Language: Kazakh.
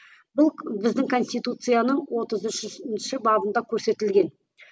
бұл біздің конституцияның отыз үшінші бабында көрсетілген